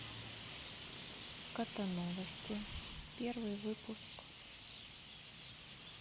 котоновости первый выпуск